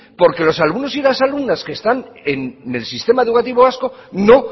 porque los alumnos y las alumnas que están el sistema educativo vasco no